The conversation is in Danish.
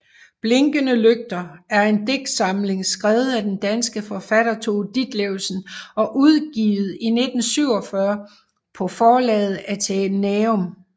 Blinkende lygter er en digtsamling skrevet af den danske forfatter Tove Ditlevsen og udgivet i 1947 på forlaget Athenæum